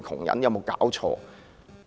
有無搞錯？